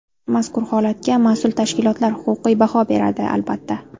Mazkur holatga mas’ul tashkilotlar huquqiy baho beradi, albatta.